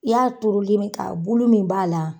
I y'a turuli min kɛ a bulu min b'a la.